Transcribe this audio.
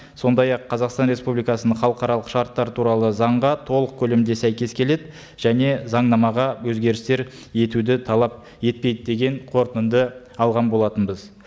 сондай ақ қазақстан республикасының халықаралық шарттары туралы заңға толық көлемде сәйкес келеді және заңнамаға өзгерістер етуді талап етпейді деген қорытынды алған болатынбыз